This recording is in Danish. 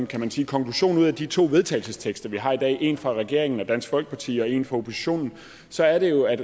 kan man sige konklusion ud af de to vedtagelsestekster vi har i dag en fra regeringen og dansk folkeparti og en fra oppositionen så er det jo at